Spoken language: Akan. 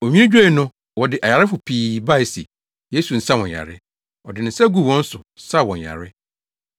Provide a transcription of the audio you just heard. Onwini dwoe no, wɔde ayarefo pii bae se, Yesu nsa wɔn yare. Ɔde ne nsa guu wɔn so saa wɔn yare.